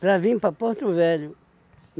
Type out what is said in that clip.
para vir para Porto Velho.